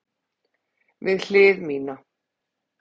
Við hlið mína.